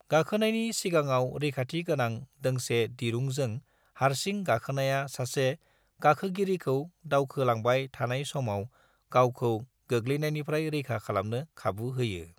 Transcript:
गाखोनायनि सिगाङाव रैखाथि गोनां दोंसे दिरुंजों हारसिं गाखोनाया सासे गाखोगिरिखौ दावखोलांबाय थानाय समाव गावखौ गोग्लैनायनिफ्राय रैखा खालामनो खाबु होयो।